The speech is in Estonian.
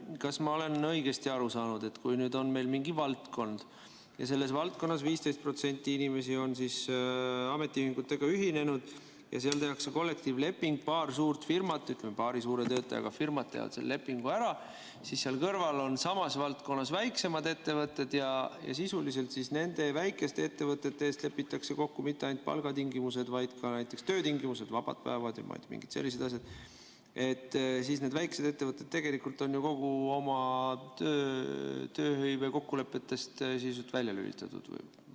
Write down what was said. Kas ma olen õigesti aru saanud, et kui mingis valdkonnas on 15% inimesi ametiühingutega ühinenud ja seal tehakse kollektiivleping, paar suurt firmat, ütleme, paar suure töötajate arvuga firmat teevad selle lepingu ära, aga seal kõrval on samas valdkonnas väiksemad ettevõtted ja sisuliselt nende väikeste ettevõtete eest lepitakse kokku mitte ainult palgatingimused, vaid ka näiteks töötingimused, vabad päevad ja mingid sellised asjad, siis on need väikesed ettevõtted tegelikult ju kõigist oma tööhõivekokkulepetest sisuliselt välja lülitatud?